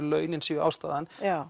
launin séu ástæðan er